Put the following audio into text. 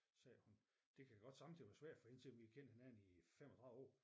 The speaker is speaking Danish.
Siger hun det kan godt sommetider være svært for hende selvom vi har kendt hinanden i 35 år